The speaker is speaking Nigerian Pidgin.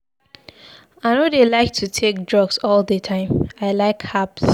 I no dey like to take drugs all the time, I like herbs.